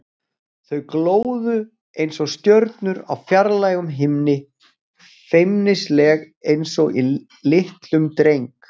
Þau glóðu einsog stjörnur á fjarlægum himni, feimnisleg einsog í litlum dreng.